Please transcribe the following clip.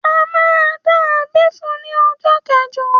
À mà dá abé fún ní ọjọ́ kẹjọ.